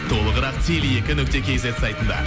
толығырақ теле екі нүкте кейзет сайтында